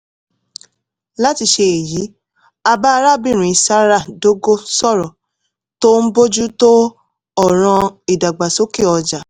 láti ṣe èyí a bá arábìnrin zara dogo sọ̀rọ̀ tó ń bójú tó ọ̀ràn ìdàgbàsókè ọjà